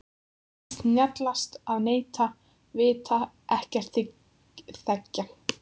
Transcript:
Það er víst snjallast að neita, vita ekkert, þegja.